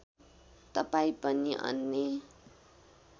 तपाईँ पनि अन्य